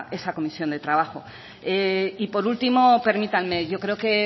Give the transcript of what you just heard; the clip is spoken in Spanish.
esa comisión de trabajo por último permítanme yo creo que